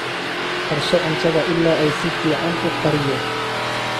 Karso cuntada ilaa ay si fiican u kariyo.